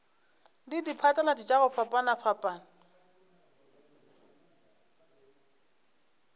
le diphatlalatši tša go fapafapana